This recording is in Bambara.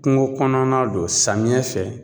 Kuŋo kɔnɔna don samiyɛ fɛ